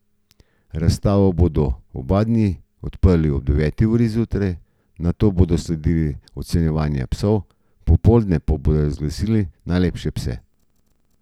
Razstavo bodo oba dni odprli ob deveti uri zjutraj, nato bodo sledila ocenjevanja psov, popoldne pa bodo razglasili najlepše pse.